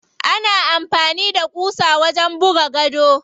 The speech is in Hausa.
Ana amfani da ƙusa wajen buga gado.